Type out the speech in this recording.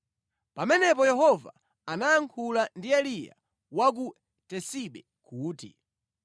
Pamenepo Yehova anayankhula ndi Eliya wa ku Tisibe kuti,